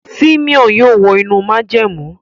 Simon yóò wọ inú májẹ̀mú.